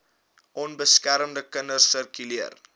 onbeskermde kinders sirkuleer